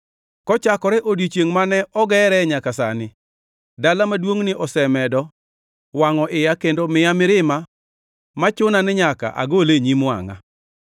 Kochakore odiechiengʼ mane ogere nyaka sani, dala maduongʼni osemedo wangʼo iya kendo miya mirima ma chuna ni nyaka agole e nyim wangʼa.